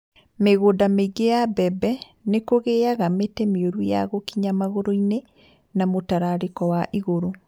Mi͂gu͂nda mi͂ingi͂ ya mbebe ni͂ ku͂gi͂aga mi͂ti͂ mi͂u͂ru ya ku͂kinya magu͂ru͂-ini͂ na mu͂tarari͂ko wa igu͂ru͂.